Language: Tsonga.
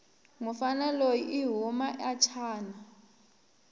mufana loyi ihhuma achina